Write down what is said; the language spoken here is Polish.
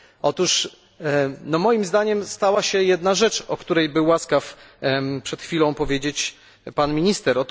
Otóż moim zdaniem stała się jedna rzecz, o której był łaskaw przed chwilą powiedzieć pan minister.